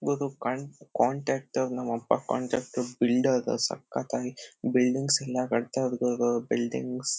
can't contractor ನಮ್ ಅಪ್ಪ contract builder ಸಕ್ಕತ್ತಾಗಿ ಬಿಲ್ಡಿಂಗ್ಸ್ ಎಲ್ಲಾ ಕಟ್ತಾ ಇರಬೋದು ಬಿಲ್ಡಿಂಗ್ಸ್ --